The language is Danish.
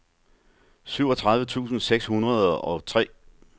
syvogtredive tusind seks hundrede og tre